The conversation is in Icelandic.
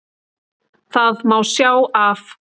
Það má sjá af